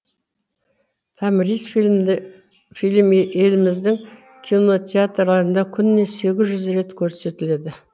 томрис фильмі еліміздің кинотеатрларында күніне сегіз жүз рет көрсетіледі